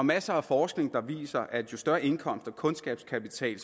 masser af forskning der viser at jo større indkomst og kundskabskapital